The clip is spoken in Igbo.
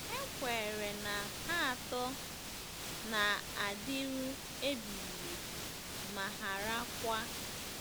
E kweere na ha atọ “na-adịru ebighị ebi, ma harakwa. ”